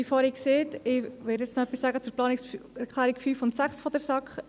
Wie vorhin erwähnt, werde ich noch etwas zu den Planungserklärungen 5 und 6 der SAK sagen.